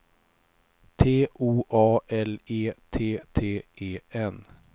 T O A L E T T E N